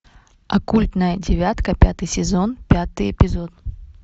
оккультная девятка пятый сезон пятый эпизод